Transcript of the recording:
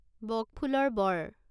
বক ফুলৰ বড়